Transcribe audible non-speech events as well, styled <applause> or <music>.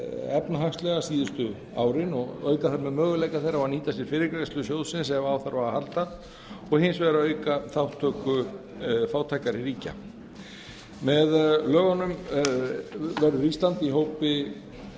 efnahagslega síðustu árin og auka þarna möguleika þeirra á að nýta sér fyrirgreiðslu sjóðsins ef á þarf að halda og hins vegar að auka þátttöku fátækari ríkja <unintelligible> með lögunum verður ísland í hópi